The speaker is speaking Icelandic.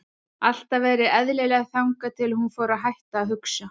Alltaf verið eðlileg þangað til að hún fór að hætta að hugsa.